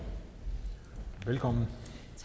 velkommen